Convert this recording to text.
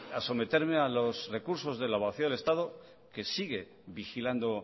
a someterme a los recursos de la abogacía del estado que sigue vigilando